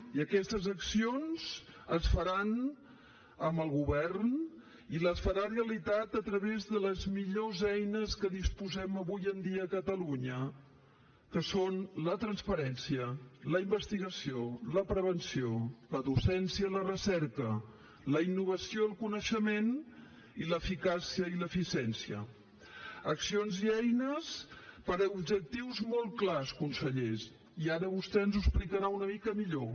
i aquestes accions es faran amb el govern i les farà realitat a través de les millors eines de què disposem avui en dia a catalunya que són la transparència la investigació la prevenció la docència la recerca la innovació el coneixement i l’eficàcia i l’eficiència accions i eines per a objectius molt clars conseller i ara vostè ens ho explicarà una mica millor